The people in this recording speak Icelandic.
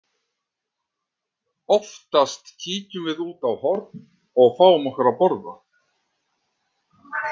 Oftast kíkjum við út á horn og fáum okkur að borða.